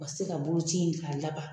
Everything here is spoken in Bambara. U ka se ka boloci in k'a laban